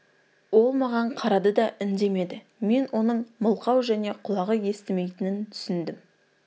ол маған қарады да үндемеді мен оның мылқау және құлағы естімейтінін түсіндім